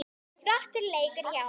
Flottur leikur hjá honum.